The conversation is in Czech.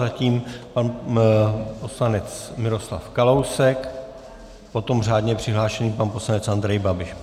Zatím pan poslanec Miroslav Kalousek, potom řádně přihlášený pan poslanec Andrej Babiš.